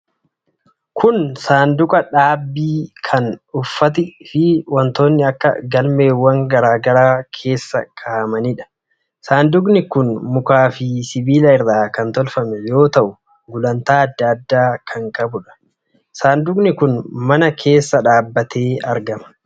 Kun Saanduqa dhaabbii kan uffati fi wantoonni akka galmeewwan garaa garaa keessa kaa'amaniidha. Saanduqi kun mukaa fi sibiila irraa kan tolfame yoo ta'u gulantaa adda addaa kan qabuudha. Saanduqi kun mana keessa dhaabatee argama.